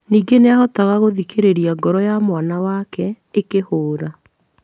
Ningĩ nĩahotaga gũthikĩrĩria ngoro ya mwana wake ĩkĩhũra